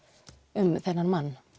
um þennan mann